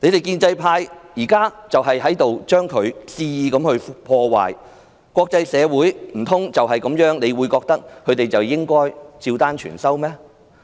建制派正在肆意破壞，難道他們認為國際社會便會對他們的話照單全收嗎？